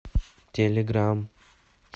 телеграм